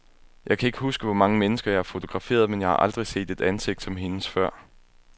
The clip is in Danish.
Jeg kan ikke huske, hvor mange mennesker, jeg har fotograferet, men jeg har aldrig set et ansigt som hendes før.